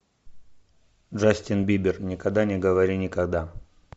джастин бибер никогда не говори никогда